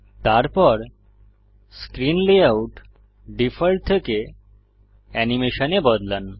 তারপর screen layout default থেকে animation এ বদলান